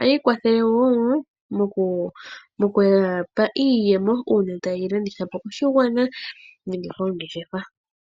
Oyi ikwathele woo moku ya pa iiyemo, uuna ta ye yi landithapo koshigwana.